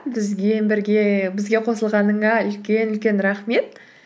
бізге қосылғаныңа үлкен үлкен рахмет